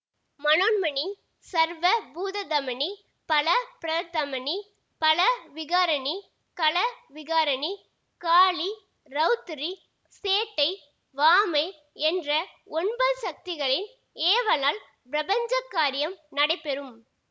மனோன்மணி சர்வ பூததமணி பலப்பிரதமனி பலவிகாரணி கலவிகாரணி காளி ரெளத்திரி சேட்டை வாமை என்ற ஒன்பது சக்திகளின் ஏவலால் பிரபஞ்ச காரியம் நடைபெறும்